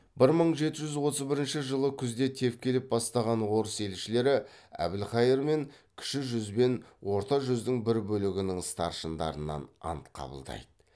бір мың жеті жүз отыз бірінші жылы күзде тевкелев бастаған орыс елшілері әбілқайыр мен кіші жүз бен орта жүздің бір бөлігінің старшындарынан ант қабылдайды